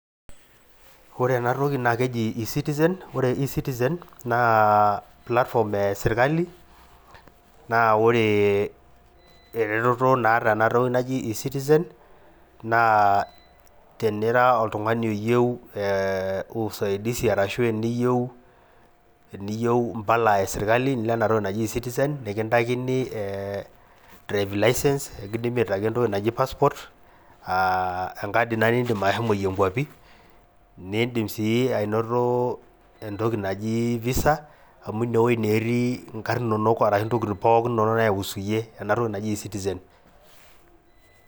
Ore enatoni na keji ecitizen, ore ecitizen naa platform esirkali, naa ore ereteto naatae enatoki naji ecitizen naa tinira oltungani iyieu usaidizi orashu teniyieu Impala esirkali nilo enatoki naji ecitizen nikitaikini driving license ekindimi aitaki entoki naji passport aa enkadi ina nidim ashomoyie nkwapi ,nidim sii anoto entoki naji Visa amu ineweji naa eti inkar inonok orashu intokiting pookin naihusu iyie enatoki naji ecitizen.